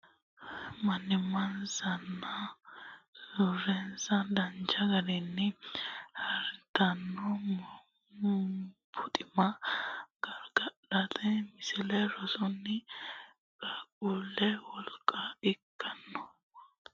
Qaaqquullunniti qoosso deante ba annokki gede agarantuha ikkiro mannimmansanna surrensa danchu garinni harditanno buxima gargadhateno Misile Rossanni qaaqquulle wolqa ikkitanno.